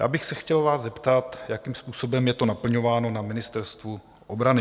Já bych se vás chtěl zeptat, jakým způsobem je to naplňováno na Ministerstvu obrany.